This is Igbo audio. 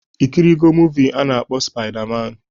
Ikirigo muuvi a na-akpọ spaida man?